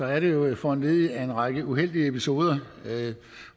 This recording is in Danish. er det jo foranlediget af en række uheldige episoder